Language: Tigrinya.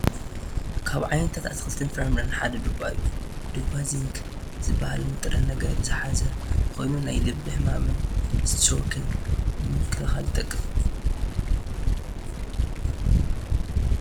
ካብ ዓይነታት ኣትክልትን ፍራምረን ሓደ ድባ እዩ፡፡ ድባ ዚንክ ዝባሃል ንጥረ ነገር ዝሓዘ ኮይኑ ናይ ልቢ ሕማምን ስትሮክን ንምክልኻል ይጠቅም፡፡